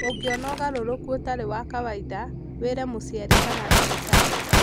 Ũngĩona ũgarũrũku ũtarĩ wa kawaida, wĩre mũciari kana ndagĩtarĩ.